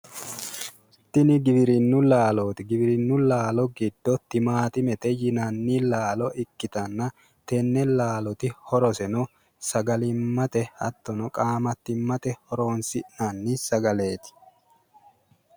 Tini giwirinnu laalooti, giwirinnu laalo giddo timaattimete yinanni laalo ikkitanna tenne laalooti horroseno sagalimmate hattono qaamattimmate horonisi'nanni sagaleeti.